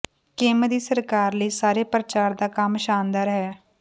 Kim ਦੀ ਸਰਕਾਰ ਲਈ ਸਾਰੇ ਪ੍ਰਚਾਰ ਦਾ ਕੰਮ ਸ਼ਾਨਦਾਰ ਹੈ